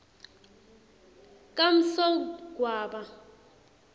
kamsogwaba